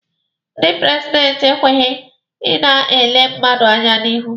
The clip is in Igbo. Ndị prezidenti ekwesighi i na-ele mmadụ anya n'ihu.